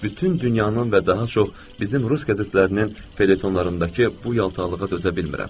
Bütün dünyanın və daha çox bizim rus qəzetlərinin felyetonlarındakı bu yaltaqlığa dözə bilmirəm.